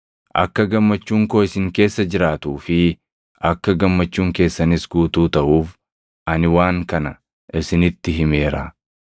Akka gammachuun koo isin keessa jiraatuu fi akka gammachuun keessanis guutuu taʼuuf ani waan kana isinitti himeera.